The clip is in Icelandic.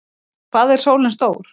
Hvað er sólin stór?